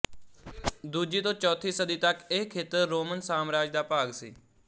ਦੂਜੀ ਤੋਂ ਚੌਥੀ ਸਦੀ ਤੱਕ ਇਹ ਖੇਤਰ ਰੋਮਨ ਸਾਮਰਾਜ ਦਾ ਭਾਗ ਸੀ